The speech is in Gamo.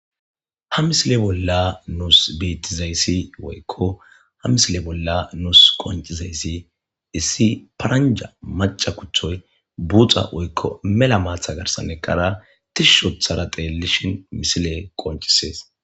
Ha misile bolla nuus beththizayssi woykko ha misile bolla nuus qonccizayssi issi paranjja macca kuththoy buuxa oykko mela maatha garssan eqqara thishishi ooththara theelishin misilee qoncisees.